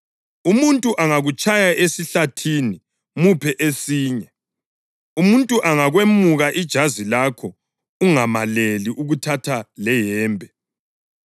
Umuntu angakutshaya esihlathini, muphe esinye. Umuntu angakwemuka ijazi lakho ungamaleli ukuthatha leyembe.